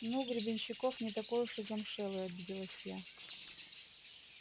ну гребенщиков не такой уж и замшелый обиделась я